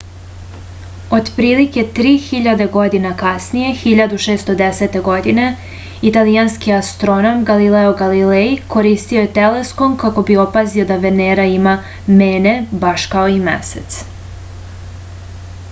otprilike tri hiljade godina kasnije 1610. godine italijanski astronom galileo galilej koristio je teleskop kako bi opazio da venera ima mene baš kao i mesec